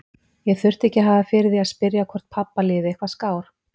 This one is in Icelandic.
Ég þurfti ekki að hafa fyrir því að spyrja hvort pabba liði eitthvað skár.